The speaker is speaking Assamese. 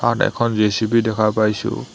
তাত এখন জে_চি_বি দেখা পাইছোঁ।